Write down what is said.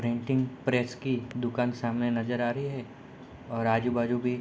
painting press की दुकान सामने नजर आ रही है और आजू-बाजू भी --